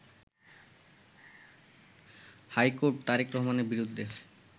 high court Tarek রহমানের বিরুদ্ধে